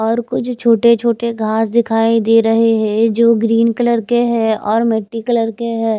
और कुछ छोटे छोटे घास दिखाई दे रहे हैं जो ग्रीन कलर के है और मिट्टी कलर के हैं।